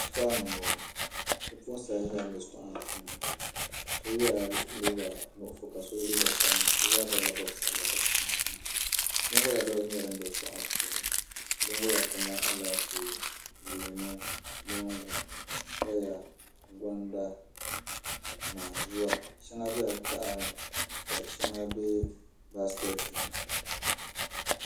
Shitori ni n boŋo bipuɣunsi ayi nyɛla ban bɛ shitori maa puuni so yɛla liiga nuɣso ka so yɛ liiga sabinli bi zaa bobla bob sabila ka so chinchina binwola balibu nyɛla din bɛ shitoɣu ŋo puuni binwola kamani Alaafee leemu moongu paya konda naanzuwa shɛŋa biɛla tahani ka shɛŋa bɛ baaskɛti ni